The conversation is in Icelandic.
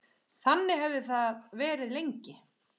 Þannig hefði það verið lengi.